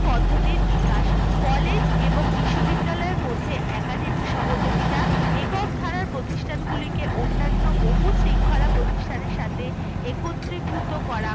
পদ্ধতির বিকাশ college এবং বিশ্ববিদ্যালয় মধ্যে academy সহযোগিতা একক ধারা প্রতিষ্ঠানগুলিকে অন্যান্য বহু শৃঙ্খলা প্রতিষ্ঠান সাথে একত্রিভূত করা